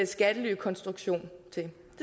skattelykonstruktion i det